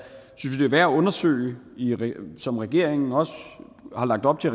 værd at undersøge som regeringen også har lagt op til